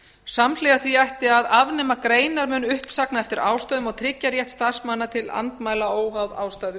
samhliða því ætti að afnema greinarmun uppsagna eftir ástæðum og tryggja rétt starfsmanna til andmæla óháð ástæðu